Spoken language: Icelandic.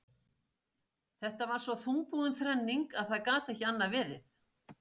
Þetta var svo þungbúin þrenning að það gat ekki annað verið.